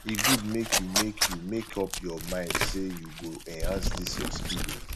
e good make you make you make up your mind say you go enhance dis your skill o